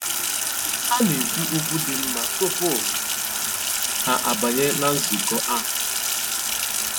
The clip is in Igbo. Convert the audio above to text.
Há nà-ékwú ókwú dị́ nmá túpú há àbányé nà nzụ̀kọ́ áhụ̀.